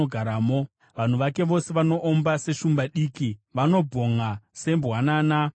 Vanhu vake vose vanoomba seshumba diki, vanobhonʼa sembwanana dzeshumba.